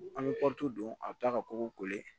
An bɛ don a bɛ taa ka kɔgɔ in